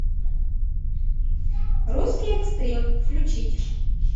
русский экстрим включить